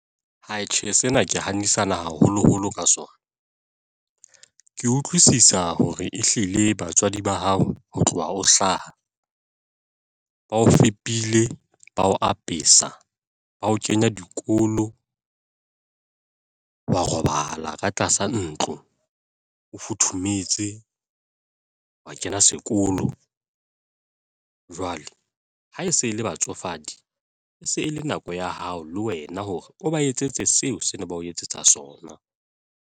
Tjhe sena ke haholoholo ka sona. Ke utlwisisa hore ehlile batswadi ba hao ho tloha ho hlaha, ba o fepile, ba o apesa, ba o kenya dikolo wa robala ka tlasa ntlo o futhumetse, wa kena sekolo jwale ha e se e le batsofadi, e se e le nako ya hao le wena hore o ba etsetse seo se ne ba o etsetsa sona.